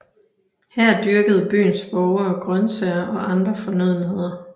Her dyrkede byens borgere grøntsager og andre fornødenheder